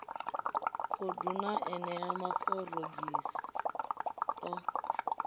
khundu na enea maforogisi o